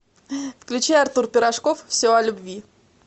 включи артур пирожков все о любви